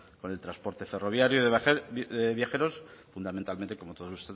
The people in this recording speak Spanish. con el transporte ferroviario de viajeros fundamentalmente como todos